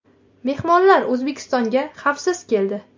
Mehmonlar O‘zbekistonga Xavisiz keldi.